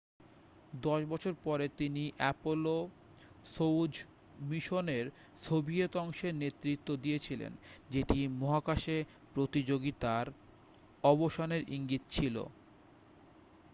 দশ বছর পরে তিনি অ্যাপোলো-সোয়ুজ মিশনের সোভিয়েত অংশের নেতৃত্ব দিয়েছিলেন যেটি মহাকাশে প্রতিযোগিতার অবসানের ইঙ্গিত ছিল